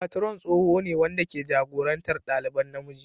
Patron tsoho ne wanda ke jagorantar ɗaliban namiji.